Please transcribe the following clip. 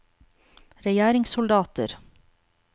regjeringssoldater